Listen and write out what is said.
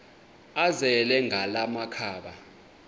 azele ngala makhaba